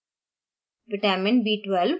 chlorophyll